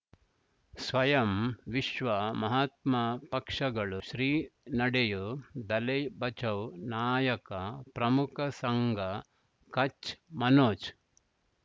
ಸ್ವಯಂ ವಿಶ್ವ ಮಹಾತ್ಮ ಪಕ್ಷಗಳು ಶ್ರೀ ನಡೆಯೂ ದಲೈ ಬಚೌ ನಾಯಕ ಪ್ರಮುಖ ಸಂಘ ಕಚ್ ಮನೋಜ್